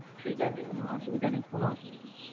ঠিক আছে কোন অসুবিধা নাই, কোন অসুবিধা নাই।